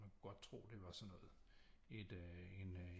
Man kunne godt tro at det var sådan noget et øh en